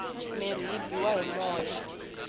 mirhi yi biwa hi moya